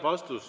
Vastus.